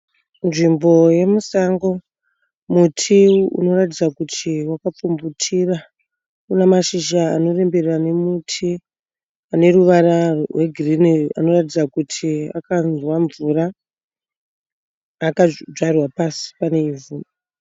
Nzvimbo yemusango. Muti unoratidza kuti waka pfumvutira. Unamashizha anorembera nemiti. Aneruvara rwegirini anoratidza kuti akanzwa mvura akadvarwa pasi paneivhu.